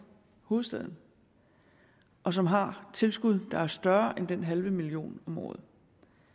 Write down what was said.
hovedstaden og som har tilskud der er større end den halve million om året